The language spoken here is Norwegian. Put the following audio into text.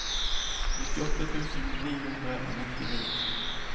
nittiåtte tusen ni hundre og nittini